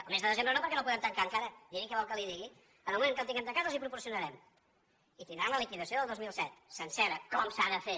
el mes de desembre no perquè no el podem tancar encara miri què vol que li digui en el moment que el tinguem tancat els ho proporcionarem i tindran la liquidació del dos mil set sencera com s’ha de fer